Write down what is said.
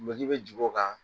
bɛ jigi o kan